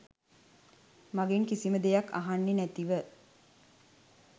මගෙන් කිසිම දෙයක්‌ අහන්නේ නැතිව.